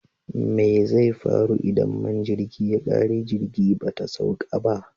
Mai zai faru idan man jirgi ya ƙare jirgi bata sauƙa ba?